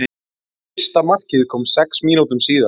Fyrsta markið kom sex mínútum síðar.